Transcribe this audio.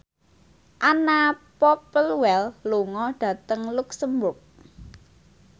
Anna Popplewell lunga dhateng luxemburg